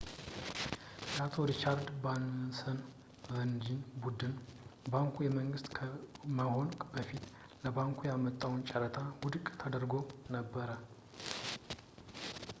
የአቶ ሪቻርድ ባራንሰን ቨርጅን ቡድን ባንኩ የመንግስት ከመሆኑ በፊት ለባንኩ ያወጣው ጨረታ ውድቅ ተደርጎ ነበረ